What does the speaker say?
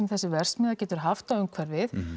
þessi verksmiðja getur haft á umhverfið